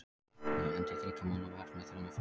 Ég endi í þriggja manna vörn með þremur flottum.